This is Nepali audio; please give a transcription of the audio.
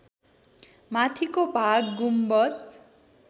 माथिको भाग गुम्बज